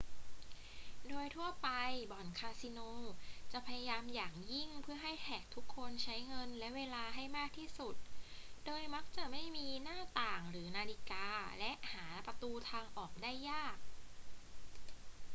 โดยทั่วไปบ่อนคาสิโนจะพยายามอย่างยิ่งเพื่อให้แขกทุกคนใช้เงินและเวลาให้มากที่สุด โดยมักจะไม่มีหน้าต่างหรือนาฬิกาและหาประตูทางออกได้ยาก